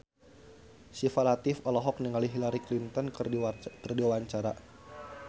Syifa Latief olohok ningali Hillary Clinton keur diwawancara